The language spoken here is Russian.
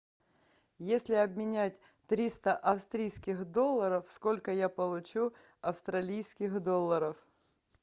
если обменять триста австрийских долларов сколько я получу австралийских долларов